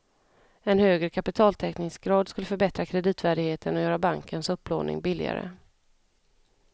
En högre kapitaltäckningsgrad skulle förbättra kreditvärdigheten och göra bankens upplåning billigare.